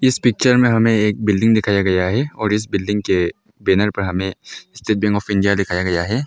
Picture में हमें एक बिल्डिंग दिखाया गया है और इस बिल्डिंग के बैनर पर हमें स्टेट बैंक ऑफ़ इंडिया दिखाया गया है।